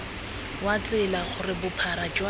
wa tsela gore bophara jwa